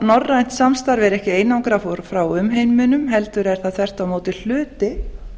norrænt samstarf er ekki einangrað frá umheiminum heldur er það þvert á móti hluti